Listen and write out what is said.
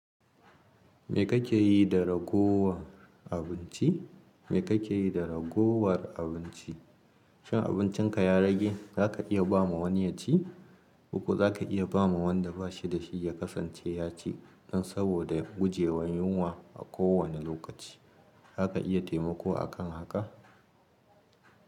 Me kake yi da ragowar abinci? Me kake yi da ragowar abinci? Shin abincinka ya rage, zaka iya ba ma wani ya ci ko kuwa za ka iya ba ma wanda ba shi da shi ya kasance ya ci dan saboda guje wa yunwa a kowane lokaci. Za ka iya taimako akan haka.